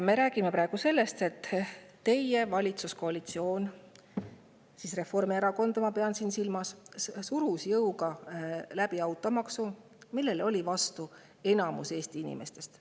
Me räägime praegu sellest, et teie valitsuskoalitsioon – ma pean siin silmas Reformierakonda – surus jõuga läbi automaksu, millele enamik Eesti inimesi oli vastu.